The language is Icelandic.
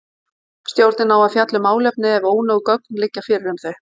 Stjórnin á að fjalla um málefni ef ónóg gögn liggja fyrir um þau.